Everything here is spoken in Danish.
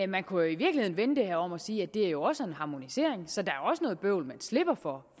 man kunne i virkeligheden vende det her om og sige at det jo også er en harmonisering så der er også noget bøvl man slipper for